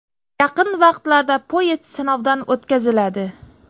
Yaqin vaqtlarda poyezd sinovdan o‘tkaziladi.